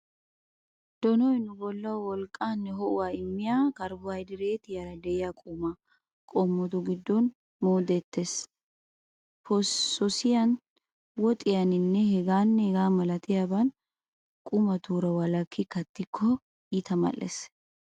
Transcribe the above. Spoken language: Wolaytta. Donoy nu bollawu wolqqaanne ho'uwaa immiya karbohaydireetiyaara de'iya qumaa qommotu giddon moodettees. Posoosiyaan, woxiyaaninne hegaanne hegaa milatiya qumatuura walakki kattikko eta mal'ettees.